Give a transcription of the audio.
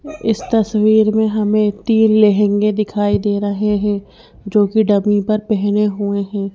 इस तस्वीर में हमें तीन लहंगे दिखाई दे रहे हैं जो कि डमी पर पहने हुए हैं।